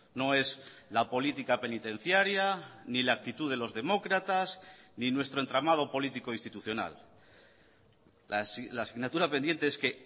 no es la política penitenciaria ni la actitud de los demócratas ni nuestro entramado político institucional la asignatura pendiente es que